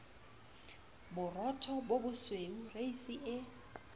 borotho bo bosweu reisi e